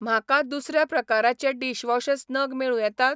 म्हाका दुसऱ्या प्रकाराचे डिशवॉशस नग मेळूं येतात?